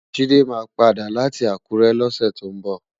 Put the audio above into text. Jide má pàdá láti Akure lòsè tó nbò